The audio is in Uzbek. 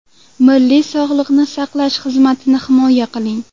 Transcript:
Milliy sog‘liqni saqlash xizmatini himoya qiling.